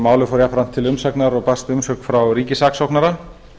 málið fór jafnframt til umsagnar og barst umsögn frá ríkissaksóknara